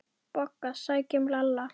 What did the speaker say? BOGGA: Sækjum Lalla!